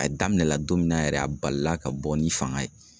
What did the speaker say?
A daminɛ la don min na yɛrɛ a balila ka bɔ ni fanga ye.